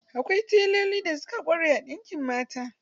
Akwai teloli da suka ƙware a ɗinkin mata.